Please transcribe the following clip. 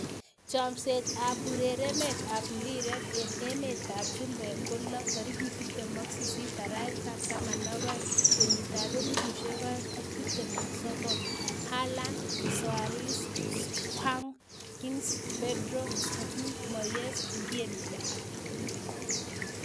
Chomset ab urerenet ab mbiret eng emet ab chumbek kolo 28.12.2019: Haaland, Soares, Hwang, Insigne, Pedro, Capoue, Moyes, Nketiah